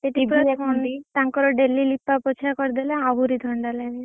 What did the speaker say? ସେଠି TV ଦେଖନ୍ତି